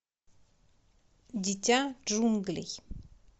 дитя джунглей